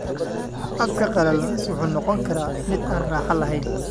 Afka qalalan wuxuu noqon karaa mid aan raaxo lahayn.